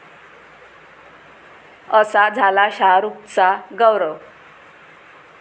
असा झाला शाहरुखचा 'गौरव'!